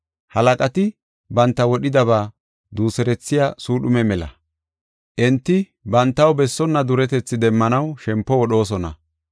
Halaqati banta wodhidaba duuserethiya suudhume mela; enti bantaw bessona duretethi demmanaw shempo wodhoosona.